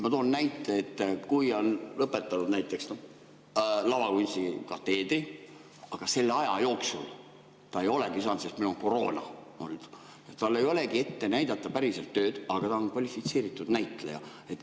Ma toon näite: on lõpetanud lavakunstikateedri, aga selle aja jooksul ta ei olegi saanud, sest meil on koroona olnud, tal ei olegi päriselt ette näidata tööd, aga ta on kvalifitseeritud näitleja.